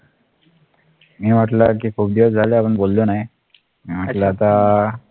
मी म्हटलं कि खूप दिवस झाले आपण बोललो नाही म्हटलं आता